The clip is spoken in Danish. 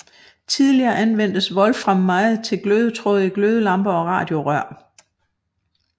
Tidligere anvendtes wolfram meget til glødetråde i glødelamper og radiorør